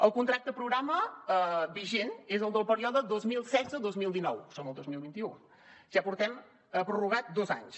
el contracte programa vigent és el del període dos mil setze dos mil dinou som al dos mil vint u ja portem prorrogat dos anys